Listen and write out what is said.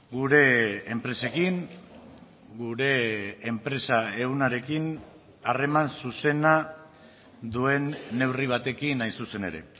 gure enpresekin gure enpresa ehunarekin harreman zuzena duen neurri batekin hain zuzen ere